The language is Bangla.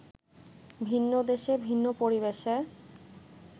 ভিন্ন দেশে, ভিন্ন পরিবেশে